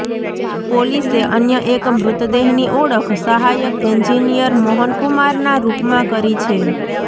પોલીસે અન્ય એક મૃતદેહની ઓળખ સહાયક એન્જિનિયર મોહન કુમારના રૂપમાં કરી છે